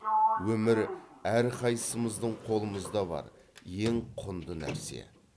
өмір әрқайсымыздың қолымызда бар ең құнды нәрсе